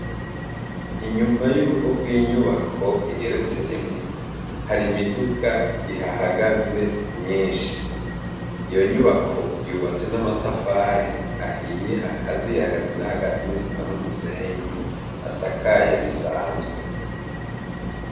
Inyuma y'urugo rw'inyubako igeretse rimwe hari imiduga ihahagaze myinshi iyo nyubako yubatse n'amatafari ahiye akaziye hagati n'ahagati n'isima n'umusenyi asakaye bisanzwe.